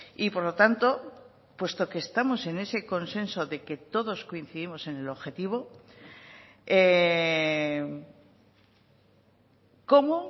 y por lo tanto puesto que estamos en ese consenso de que todos coincidimos en el objetivo cómo